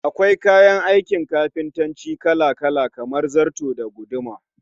Akwai kayan aikin kafintanci Kala-kala kamar zarto da guduma